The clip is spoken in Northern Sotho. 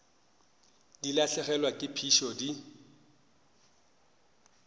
di lahlegelwa ke phišo di